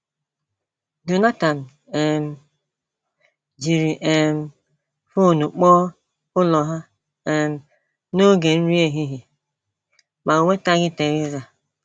Jonathan um jiri um fon kpọọ ụlọ ha um n’oge nri ehihie, ma o nwetaghị Theresa.